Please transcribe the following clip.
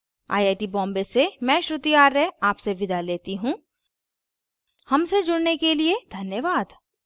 I I T Bombay से मैं श्रुति आर्य अब आपसे विदा लेती हूँ हमसे जुड़ने के लिए धन्यवाद